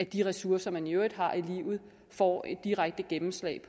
at de ressourcer man i øvrigt har i livet får et direkte gennemslag